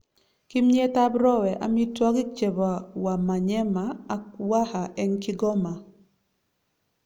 Kimyet ab Rowe: amitwagik chebo Wamanyema ak Waha en Kigoma